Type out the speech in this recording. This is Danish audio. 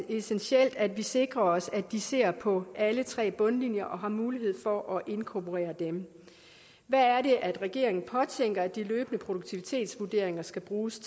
essentielt at vi sikrer os at de ser på alle tre bundlinjer og har mulighed for at inkorporere dem hvad er det regeringen påtænker at de løbende produktivitetsvurderinger skal bruges